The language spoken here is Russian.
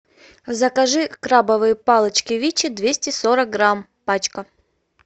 закажи крабовые палочки вичи двести сорок грамм пачка